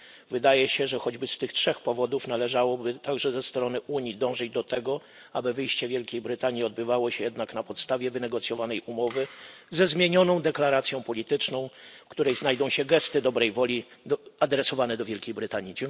Wydaje się, że choćby z tych trzech powodów należałoby także ze strony Unii dążyć do tego, aby wyjście Wielkiej Brytanii odbywało się jednak na podstawie wynegocjowanej umowy ze zmienioną deklaracją polityczną, w której znajdą się gesty dobrej woli adresowane do Wielkiej Brytanii.